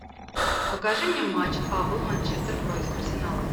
покажи мне матч апл манчестер против арсенала